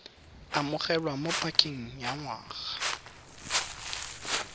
amogelwa mo pakeng ya ngwaga